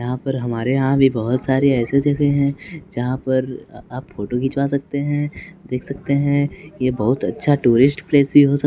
यहां पर हमारे यहां भी बहुत सारे ऐसे जगह हैं जहां पर आप फोटो खिंचवा सकते हैं देख सकते हैं ये बहुत अच्छा टूरिस्ट प्लेस भी हो सक--